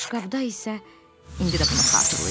Boşqabda isə indi də bunu xatırlayıram.